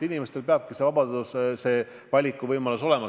Inimestel peab olema vabadus, valikuvõimalus.